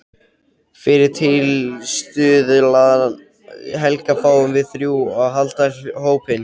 Fyrir tilstuðlan Helga fáum við þrjú að halda hópinn.